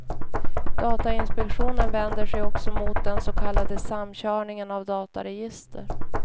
Datainspektionen vänder sig också mot den så kallade samkörningen av dataregister.